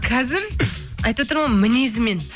қазір айтып отырмын ғой мінезімен